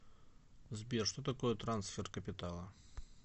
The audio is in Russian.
сбер что такое трансфер капитала